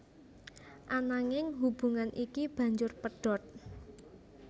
Ananging hubungan iki banjur pedhot